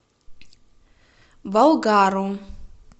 болгару